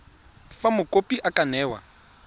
fa mokopi a ka newa